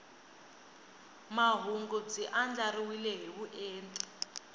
mahungu byi andlariwile hi vuenti